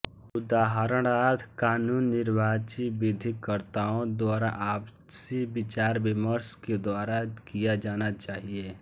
उदाहरणार्थ कानून निर्वाचित विधिकर्त्ताओं द्वारा आपसी विचारविमर्श के द्वारा किया जाना चाहिए